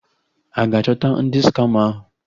A ga-achọta ndị skama ahụ?